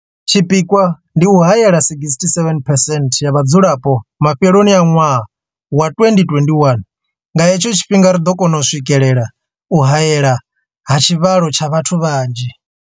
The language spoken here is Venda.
Tshipikwa ndi u haela 67 percent ya vhadzulapo mafheloni a ṅwaha wa 2021. Nga he tsho tshifhinga ri ḓo kona u swikelela u haelwa ha tshivhalo tsha vhathu vhanzhi.